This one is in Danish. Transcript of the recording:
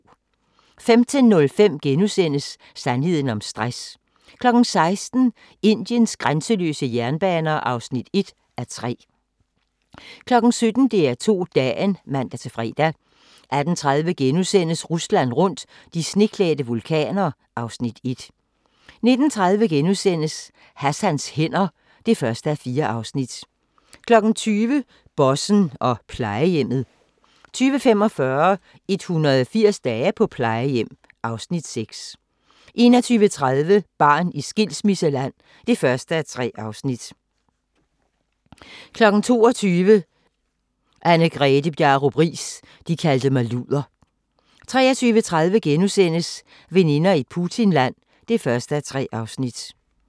15:05: Sandheden om stress * 16:00: Indiens grænseløse jernbaner (1:3) 17:00: DR2 Dagen (man-fre) 18:30: Rusland rundt – de sneklædte vulkaner (Afs. 1)* 19:30: Hassans hænder (1:4)* 20:00: Bossen og plejehjemmet 20:45: 180 dage på plejehjem (Afs. 6) 21:30: Barn i skilsmisseland (1:3) 22:00: Anne-Grethe Bjarup Riis – de kaldte mig luder 23:30: Veninder i Putinland (1:3)*